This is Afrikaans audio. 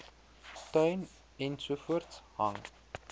tuin ensovoorts hang